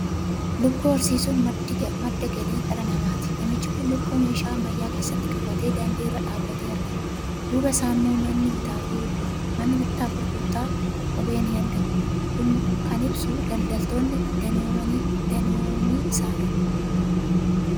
Lukkuu horsiisuun madda galii dhala namaati. Namichi kun lukkuu meeshaa ammayyaa keessatti qabatee daandii irra dhaabatee argama. Duuba isaa immoo manni bittaa fi gurgurtaa kophee ni argama. Kun kan ibsu daldaltoonni danoomii isaaniiti.